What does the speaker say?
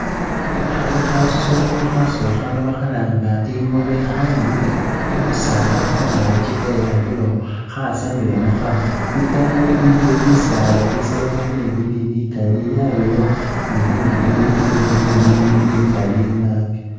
Khali khasoolo, khasoolo khano bakhalanga ingobe khaninile khu ku khu bisaala khungaakyi kheyambile okhwo ,khasamile mukhanwa, itaayi iliyo bisaala bisalanile bili bikali yabayo ni ibindi bili bye green bikali nabi